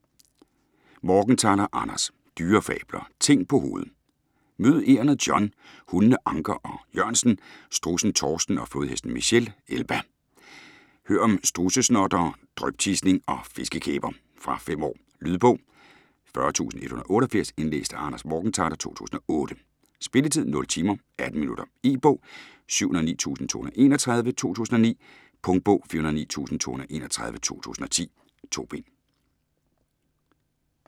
Morgenthaler, Anders: Dyrefabler - ting på hovedet Mød egernet John, hundene Anker og Jørgensen, strudsen Torsten og flodhesten Michelle Elba. Hør om strudsesnottere, dryptisning og fiskekæber! Fra 5 år. Lydbog 40188 Indlæst af Anders Morgenthaler, 2008. Spilletid: 0 timer, 18 minutter. E-bog 709231 2009. Punktbog 409231 2010. 2 bind.